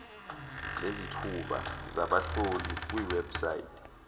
ngezithuba zabahlohli kwiwebsite